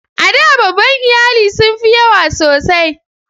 A da babban iyali sun fi yawa sosai.